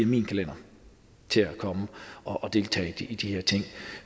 min kalender til at komme og deltage i de her ting